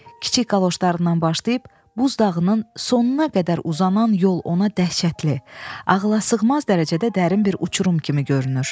Kiçik qaloşlarından başlayıb buz dağının sonuna qədər uzanan yol ona dəhşətli, ağılasığmaz dərəcədə dərin bir uçurum kimi görünür.